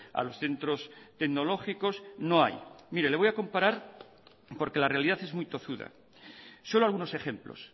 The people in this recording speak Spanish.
a los centros tecnológicos no hay le voy a comparar porque la realidad es muy tozuda solo algunos ejemplos